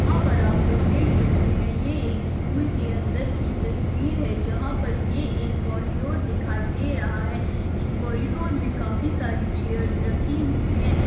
यहाँ पर आप लोग देख सकते है यह एक स्कूल के अंदर की तस्वीर है जहाँ पर ये एक कॉरीडोर दिखाई दे रहा है इस कॉरीडोर मे काफी सारी चेयर्स रखी हुई है।